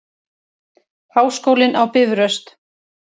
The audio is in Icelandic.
Háskólinn á Bifröst.